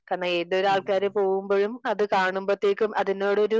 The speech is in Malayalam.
കാരണം ഏതൊരു ആൾക്കാര് പോവുമ്പോഴും അത് കാണുമ്പോത്തേക്കും അതിനോടൊരു